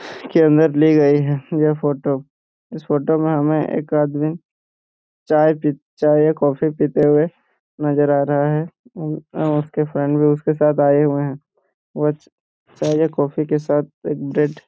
के अंदर ली गई है यह फोटो इस फोटो में हमें एक आदमी चाय पीत चाय या कॉफी पीते हुए नजर आ रहा है और उसके फ्रेंड भी उसके साथ आए हुए हैं वह चाय या कॉफी के साथ एक ब्रेड --